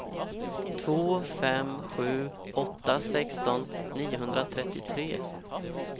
två fem sju åtta sexton niohundratrettiotre